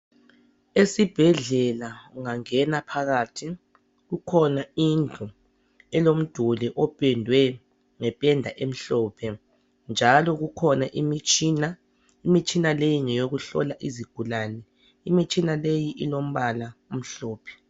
Esibhedlela ungangena phakathi kukhona indlu elomduli opendwe ngependa emhlophe njalo kukhona imitshina, imitshina leyi ngeyokuhlola izigulane imitshina leyi ilombala omhlophe